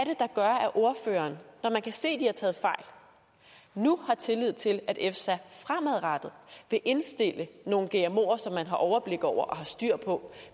ordføreren når man kan se de har taget fejl nu har tillid til at efsa fremadrettet vil indstille nogle gmoer som man har overblik over og har styr på